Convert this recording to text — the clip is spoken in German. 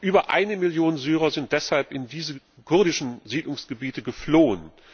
Über 1 Million Syrer sind deshalb in diese kurdischen Siedlungsgebiete geflohen.